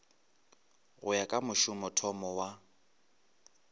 go ya ka mošomothomo wa